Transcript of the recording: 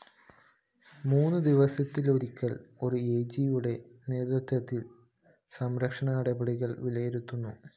മൂന്നു ദിവസത്തിലൊരിക്കല്‍ ഒരു ഐജിയുടെ നേതൃത്വത്തില്‍ സുരക്ഷാനടപടികള്‍ വിലയിരുത്തുന്നു